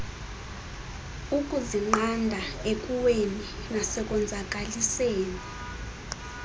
ukuzinqanda ekuweni nasekonzakaliseni